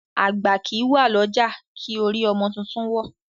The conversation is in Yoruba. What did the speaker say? Àgbà kì í wà lọ́jà kí orí ọmọ tuntun wọ́.